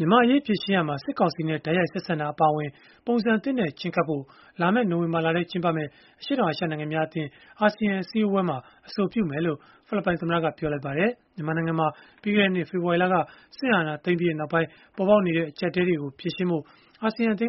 မြန်မာ့အရေး ဖြေရှင်းရာမှာ စစ်ကောင်စီနဲ့ တိုက်ရိုက် ဆက်ဆံတာ အပါအဝင် ပုံစံသစ်နဲ့ ချဉ်းကပ်ဖို့ လာမယ့် နိုဝင်ဘာလထဲ ကျင်းပမယ့် အရှေ့တောင်အာရှ နိုင်ငံများအသင်း (အာဆီယံ) အစည်းအဝေးမှာ အဆိုပြုမယ်လို့ ဖိလစ်ပိုင်သမ္မတက ပြောလိုက်ပါတယ်။ မြန်မာနိုင်ငံမှာ ပြီးခဲ့တဲ့နှစ် ဖေဖော်ဝါရီလက စစ်အာဏာသိမ်းပြီးနောက်ပိုင်း ပေါ်ပေါက်နေတဲ့ အကျပ်အတည်းတွေကို ဖြေရှင်းဖို့ အာဆီယံက